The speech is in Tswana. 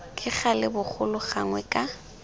ka gale bogolo gangwe ka